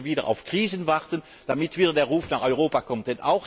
Oder müssen wir wieder auf Krisen warten, damit wieder der Ruf nach Europa kommt?